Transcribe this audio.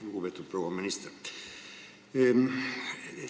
Lugupeetud proua minister!